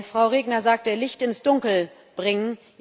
Frau Regner sagte Licht ins Dunkel bringen.